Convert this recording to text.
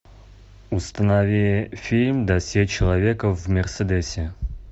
установи фильм досье человека в мерседесе